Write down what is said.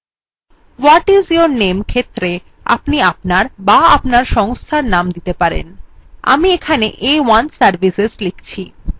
what is your name ক্ষেত্রে আপনি আপনার বা আপনার সংস্থার name লিখতে পারেন আমি এখানে a1 services লিখছি